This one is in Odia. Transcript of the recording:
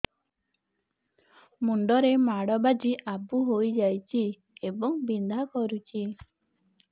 ମୁଣ୍ଡ ରେ ମାଡ ବାଜି ଆବୁ ହଇଯାଇଛି ଏବଂ ବିନ୍ଧା କରୁଛି